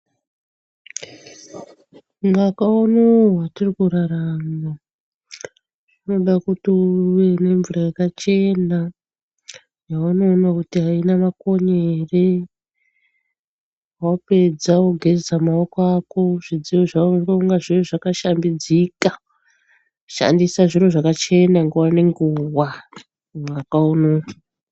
Mwaka unowu watirikurarama unoda kuti uve nemvura yakachena yaunoona kuti aina makonye ere wapedza wogeza maoko ako zvidziyo zvako zvive zvakashambidzika. Shandisa zviro zvakachena nguwa nenguwa mwaka unowu.